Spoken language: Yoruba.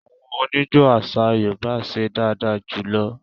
Àwọn oníjó àṣà Yorùbá ṣe dáadáa jù lọ